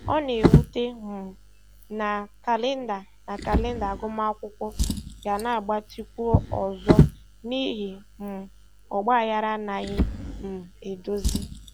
Ọ na-ewute um m na kalenda na kalenda agụmakwụkwọ ga-agbatịkwu ọzọ n'ihi um ọgbaghara anaghị um e dozi.